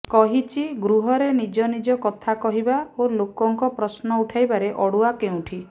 କହିଛି ଗୃହରେ ନିଜ ନିଜ କଥା କହିବା ଓ ଲୋକଙ୍କ ପ୍ରଶ୍ନ ଉଠାଇବାରେ ଅଡୁଆ କେଉଁଠି